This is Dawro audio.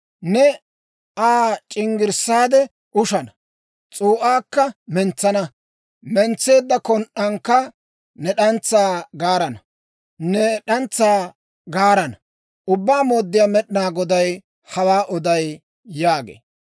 Ne Aa c'inggirssaade ushana; s'uu'aakka mentsana; mentseedda kon"ankka ne d'antsaa gaarana. Ubbaa Mooddiyaa Med'inaa Goday hawaa oday› yaagee.